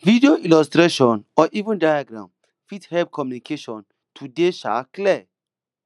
video illustration or even diagram fit help communication to dey um clear